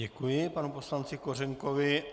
Děkuji panu poslanci Kořenkovi.